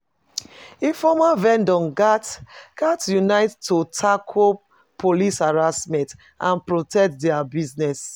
Informal vendors gats gats unite to tackle police harassment and protect dia business.